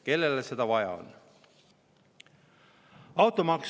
Kellele seda vaja on?!